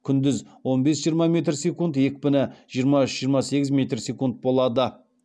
күндіз он бес жиырма метр секунд екпіні жиырма үш жиырма сегіз метр секунд болады